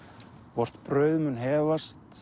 vort brauð mun